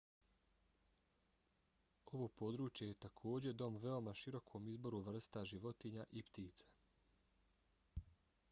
ovo područje je takođe dom veoma širokom izboru vrsta životinja i ptica